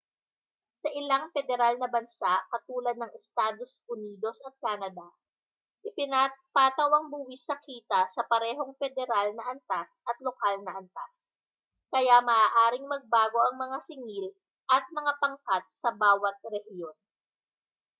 sa ilang pederal na bansa katulad ng estados unidos at canada ipinapataw ang buwis sa kita sa parehong pederal na antas at lokal na antas kaya maaaring magbago ang mga singil at mga pangkat sa bawat rehiyon